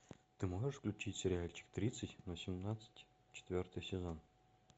ты можешь включить сериальчик тридцать но семнадцать четвертый сезон